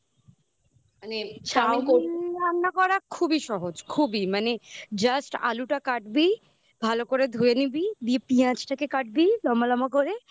chowmein রান্না করা খুবই সহজ খুবই মানে just আলুটা কাটবি ভালো করে ধুয়ে নিবি দিয়ে পিঁয়াজটাকে কাটবি লম্বা লম্বা করে